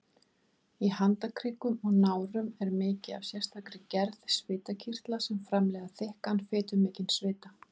Í handarkrikum og nárum er mikið af sérstakri gerð svitakirtla sem framleiða þykkan, fitumikinn svita.